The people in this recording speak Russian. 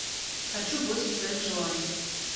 хочу бойся своих желаний